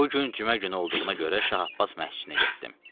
Bu gün cümə günü olduğuna görə Şah Abbas məhcinə getdim.